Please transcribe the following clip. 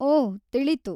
ಒಹ್‌, ತಿಳಿತು.